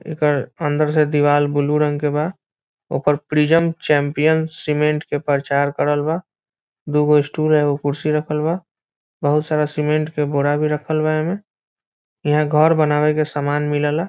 एकर अन्दर से देवाल ब्लू रंग के बा ओकर प्रिज्म चैंपियन सीमेंट के प्रचार करल बा दुगो स्टूल और एगो कुर्सी रखल बा बहुत सारा सीमेंट के बोरा भी रखल बा एमे यहाँ घर बनावे के सामान मिलेला।